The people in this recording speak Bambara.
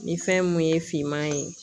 Ni fɛn mun ye finman ye